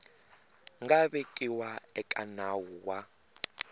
nga vekiwa eka nawu wa